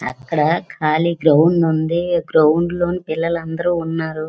అక్కడ ఖాళీ గ్రౌండ్ వుంది గ్రౌండ లో పిల్లలు అందరు ఉన్నారు.